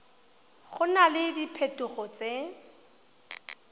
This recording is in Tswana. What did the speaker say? go na le diphetogo tse